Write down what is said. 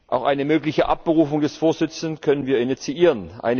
Auch eine mögliche Abberufung des Vorsitzenden können wir initiieren.